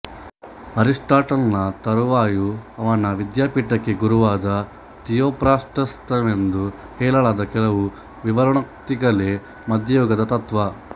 ಅರಿಸ್ಟಾಟಲನ ತರುವಾಯ ಅವನ ವಿದ್ಯಾಪೀಠಕ್ಕೆ ಗುರುವಾದ ಥಿಯೊಫ್ರಾಸ್ಟಸನವೆಂದು ಹೇಳಲಾದ ಕೆಲವು ವಿವರಣೋಕ್ತಿಗಳೇ ಮಧ್ಯಯುಗದ ತತ್ತ್ವ